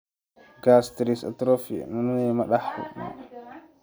Gastritis atrophic autoimmune ma la dhaxlo?